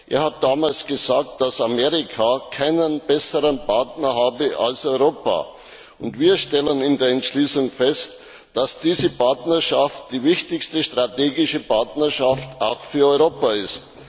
Er hat damals gesagt, dass Amerika keinen besseren Partner habe als Europa. Wir stellen in der Entschließung fest, dass diese Partnerschaft auch für Europa die wichtigste strategische Partnerschaft ist.